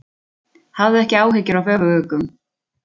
Hafðu ekki áhyggjur af öfuguggum.